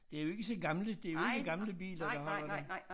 Det jo ikke så gamle det jo ikke gamle biler der holder der